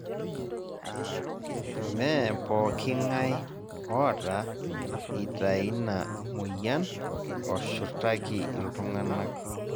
mme pooking'ae oota ita ina moyian oshurtaki iltungana